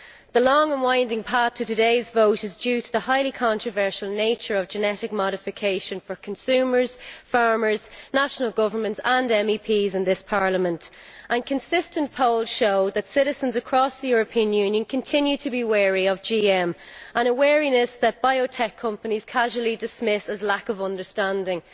The long and winding path to today's vote reflects the highly controversial nature of genetic modification for consumers, farmers, national governments and MEPs in this Parliament. Consistent polls show that citizens across the European Union continue to be wary of GM a wariness that biotech companies casually dismiss as lack of understanding.